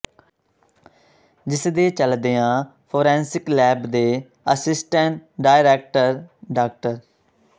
ਜਿਸ ਦੇ ਚੱਲਦਿਆਂ ਫੋਰੈਂਸਿਕ ਲੈਬ ਦੇ ਆਸਿਸਟੈਂਟ ਡਾਇਰੈਕਟਰ ਡਾ